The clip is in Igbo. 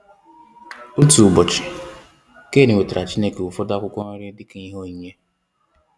Otu ụbọchị, Cain wetaara Chineke ụfọdụ akwụkwọ nri dịka ihe onyinye.